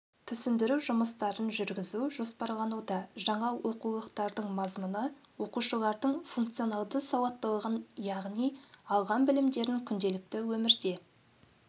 түсіндіру жұмыстарын жүргізу жоспарлануда жаңа оқулықтардың мазмұны оқушылардың функционалды сауаттылығын яғни алған білімдерін күнделікті өмірде